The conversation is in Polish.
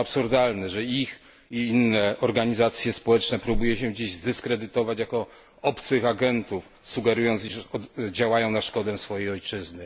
To absurdalne, że ich i inne organizacje społeczne próbuje się dziś zdyskredytować jako obcych agentów, sugerując, że działają na szkodę swojej ojczyzny.